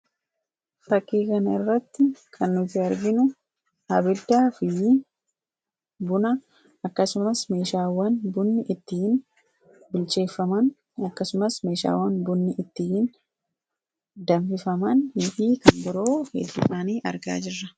Fakkii kanarratti kan nuti arginu buna akkasumas meeshaawwan bunni ittiin bilcheeffamu akkasumas meeshaawwan bunni ittiin danfifaman argaa jirra.